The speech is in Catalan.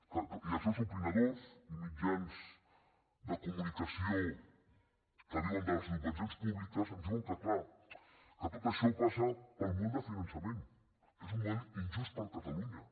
i els seus opinadors i mitjans de comunicació que viuen de les subvencions públiques ens diuen que clar que tot això passa pel model de finançament que és un model injust per a catalunya